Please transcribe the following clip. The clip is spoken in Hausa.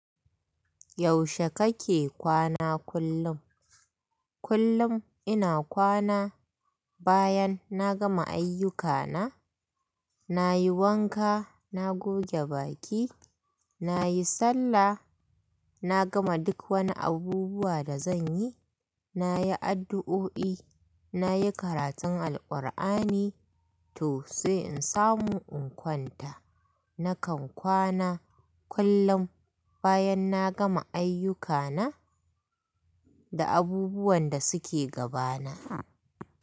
Yaushe kake kwana kullum? Kullum ina kwana bayan na gama ayyuka na, nayi wanka, na goge baki, nayi sallah, na gama duk wani abubuwa da zanyi, nayi addu'o'i, nayi karatun Al-Ƙur'ani to sai in samu in kwanta. Nakan kwana kullum bayan na gama ayyukana da abubuwan da suke gabana.